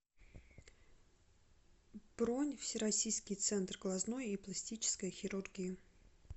бронь всероссийский центр глазной и пластической хирургии